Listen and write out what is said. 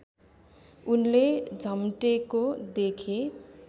उनले झम्टेको देखे